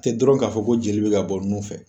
Tɛ dɔrɔn ka fɔ ko joli be ka bɔ nun fɛ.